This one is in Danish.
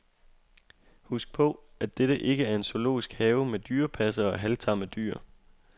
Husk på, at dette ikke er en zoologisk have med dyrepassere og halvtamme dyr.